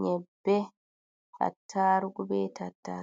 nyebbe, attarugu, be tatta